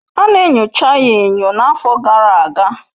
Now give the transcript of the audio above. Ana enyocha ya enyo n'afọ gara aga